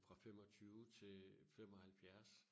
Fra 25 til 75